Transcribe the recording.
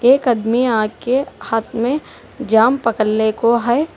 एक अदमिया के हाथ में जाम पकड़ले को है।